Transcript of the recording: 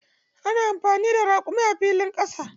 Ana anfani da raƙumi a filin ƙasa.